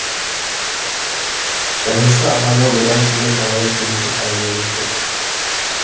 жазушы ағамен бұдан кейін талай кезігіп әңгімелестік